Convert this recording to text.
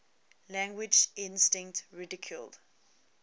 language instinct ridiculed